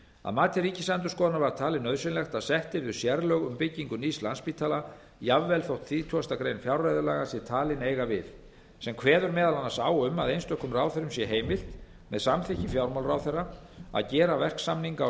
að mati ríkisendurskoðunar var talið nauðsynlegt að sett yrðu sérlög um byggingu nýs landspítala jafnvel þótt þrítugustu greinar fjárreiðulaga sé talin eiga við sem kveður m a á um að einstökum ráðherrum sé heimilt með samþykki fjármálaráðherra að gera verksamninga og samninga